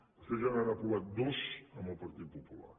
vostès ja n’han aprovat dos amb el partit popular